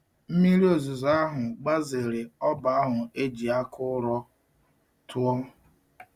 Mmiri ozuzo àhû gbazere oba ahu e ji aka uro tuò.